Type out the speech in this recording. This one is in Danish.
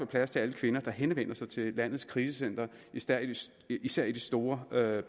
plads til alle kvinder der henvender sig til landets krisecentre især især i de store